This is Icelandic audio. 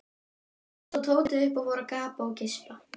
Þá stóð Tóti upp og fór að gapa og geispa.